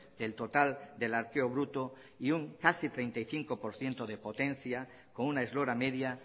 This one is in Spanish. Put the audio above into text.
del total del arqueo bruto y casi un treinta y cinco por ciento de potencia con una eslora media